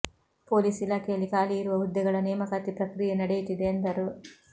police ಇಲಾಖೆಯಲ್ಲಿ ಖಾಲಿ ಇರುವ ಹುದ್ದೆಗಳ ನೇಮಕಾತಿ ಪ್ರಕ್ರಿಯೆ ನಡೆಯುತ್ತಿದೆ ಎಂದರು